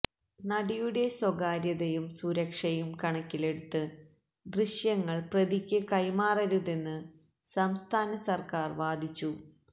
നടിയുടെ സ്വകാര്യതയും സുരക്ഷയും കണക്കിലെടുത്ത് ദൃശ്യങ്ങൾ പ്രതിയ്ക്ക് കൈമാറരുതെന്ന് സംസ്ഥാനസർക്കാർ വാദിച്ചു